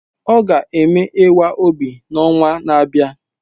Ọ ga-eme ịwa obi n'ọnwa na-abịa